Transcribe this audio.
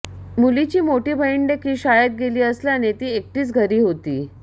मुलीची मोठी बहीणदेखील शाळेत गेली असल्याने ती एकटीच घरी होती